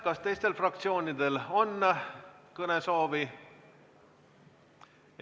Kas teistel fraktsioonidel on kõnesoovi?